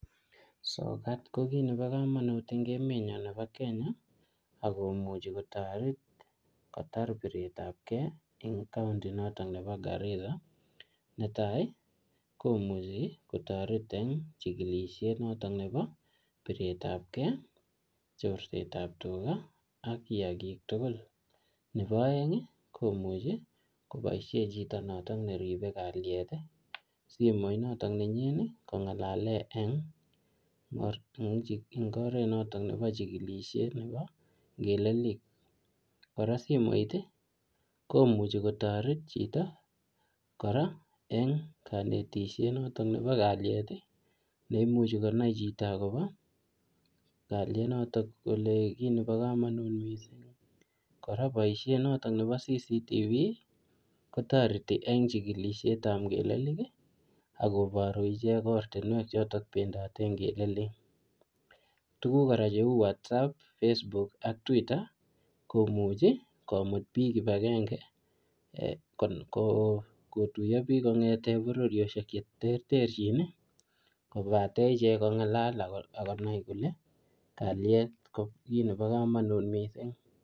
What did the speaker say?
Sokat ko kiy nebo komonut eng emet nyo nebo Kenya, akomuchi kotoret kotar piretap key eng county notok nebo Garissa. Netai, komuchi kotoret eng chikileshet notok nebo piretap key, chorset ap tuga, ak kiyagiik tugul. Nebo aeng, komuchi koboisie chito notok neripe kalyet simoit notok nenyin kongalale eng oret notok nebo chikilishe nebo ngelelik. Kora simoit, komuchi kotoret chito kora eng kanetishet notok nebo kalyet, ne imuchi konai chito akobo kalyet notok kole kiy nebo komonut missing. Kora boisiet notok nebo CCTV kotoreti eng chikilishet ap ngelelik, akoboru ichek ortinwek chotok pendote ngelelik. Tuguk kora cheu whatsapp, facebook ak twitter, komuchi komut biik kibagenge, um ko-kotuyo biik kongete bororioshek che terterchin, kobate ichek kongalal ako-akonai kole kalyet ko kiy nebo komonut missing.